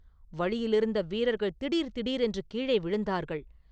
வழியிலிருந்த வீரர்கள் திடீர் திடீரென்று கீழே விழுந்தார்கள்.